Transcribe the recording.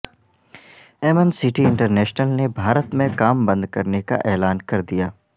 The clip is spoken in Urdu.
ایمنسٹی انٹرنیشنل نے بھارت میں کام بند کرنے کا اعلان کردیا